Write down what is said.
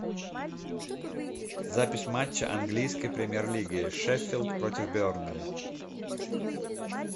запись матча английской премьер лиги шеффилд против бернли